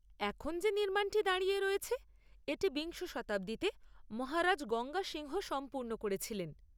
এখন যে নির্মাণটি দাঁড়িয়ে রয়েছে, এটি বিংশ শতাব্দীতে মহারাজ গঙ্গা সিংহ সম্পূর্ণ করেছিলেন।